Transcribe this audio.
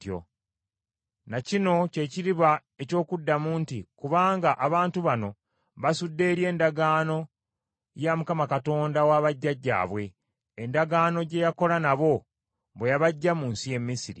Na kino kye kiriba eky’okuddamu nti, “Kubanga abantu bano basudde eri endagaano ya Mukama Katonda wa bajjajjaabwe, endagaano gye yakola nabo bwe yabaggya mu nsi y’e Misiri.